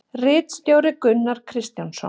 Ritstjóri Gunnar Kristjánsson.